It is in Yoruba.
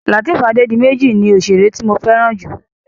Lateef Adédiméjì ni òṣèré tí mo fẹ́ràn jù.